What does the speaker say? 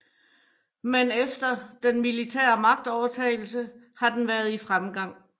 Men efter den militære magtovertagelse har den været i fremgang